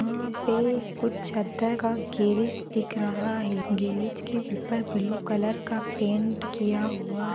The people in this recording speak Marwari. यहाँ पे कुछ चद्दर का गैरेज दिख रहा है गैरेज के ऊपर ब्लू कलर का पेंट किया हुआ।